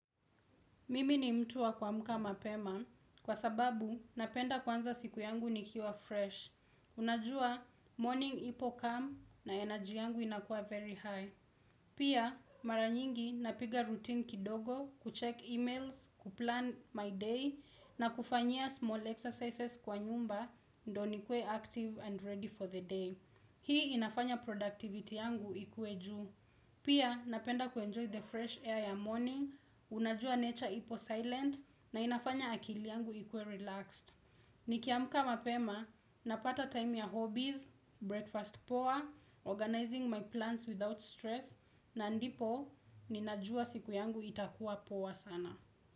Mimi ni mtu wa kwa muka mapema kwa sababu napenda kwanza siku yangu ni kiwa fresh. Unajua morning ipo calm na energy yangu inakua very high. Pia mara nyingi napiga routine kidogo, kucheck emails, kuplan my day na kufanyia small exercises kwa nyumba ndo ni kue active and ready for the day. Hii inafanya productivity yangu ikue juu. Pia napenda kuenjoy the fresh air ya morning, unajua nature ipo silent na inafanya akili yangu ikue relaxed. Nikiamka mapema, napata time ya hobbies, breakfast poa, organizing my plans without stress, na ndipo, ninajua siku yangu itakuwa poa sana.